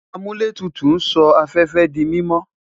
Amuletutu n sọ afẹfẹ di mimọ